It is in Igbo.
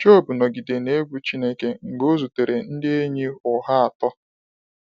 Job nọgide na egwu Chineke mgbe o zutere ndị enyi ụgha atọ.